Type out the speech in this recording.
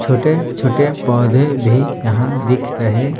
छोटे-छोटे पौधे भी यहां दिख रहे--